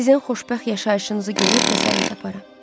Sizin xoşbəxt yaşayışınızı görüb təsəlli taparam.